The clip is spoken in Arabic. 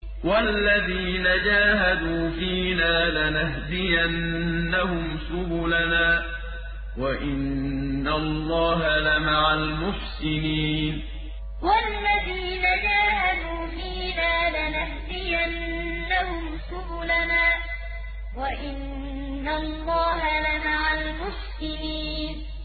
وَالَّذِينَ جَاهَدُوا فِينَا لَنَهْدِيَنَّهُمْ سُبُلَنَا ۚ وَإِنَّ اللَّهَ لَمَعَ الْمُحْسِنِينَ وَالَّذِينَ جَاهَدُوا فِينَا لَنَهْدِيَنَّهُمْ سُبُلَنَا ۚ وَإِنَّ اللَّهَ لَمَعَ الْمُحْسِنِينَ